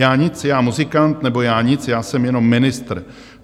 Já nic, já muzikant, nebo já nic, já jsem jenom ministr.